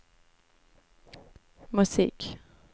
musik